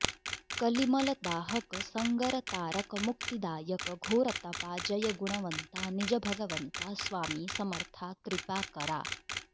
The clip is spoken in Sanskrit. कलिमलदाहक संगरतारक मुक्तिदायक घोरतपा जय गुणवंता निज भगवंता स्वामी समर्था कृपाकरा